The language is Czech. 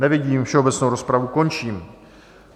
Nevidím, všeobecnou rozpravu končím.